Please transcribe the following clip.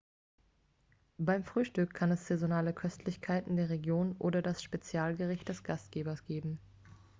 beim frühstück kann es saisonale köstlichkeiten der region oder das spezialgericht des gastgebers geben